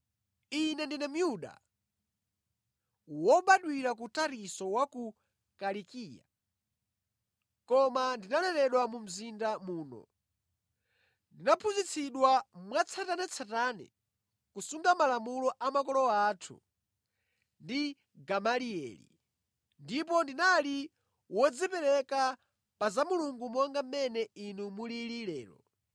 “Ine ndine Myuda, wobadwira ku Tarisisi wa ku Kilikiya, koma ndinaleredwa mu mzinda muno, ndinaphunzitsidwa mwatsatanetsatane kusunga malamulo a makolo athu ndi Gamalieli ndipo ndinali wodzipereka pa za Mulungu monga mmene inu mulili lero.